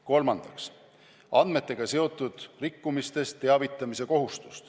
Kolmandaks, andmetega seotud rikkumisest teavitamise kohustus.